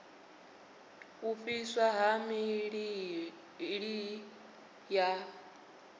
u fhiswa ha miḓi ya